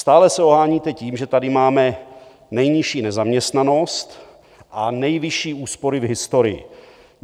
Stále se oháníte tím, že tady máme nejnižší nezaměstnanost a nejvyšší úspory v historii.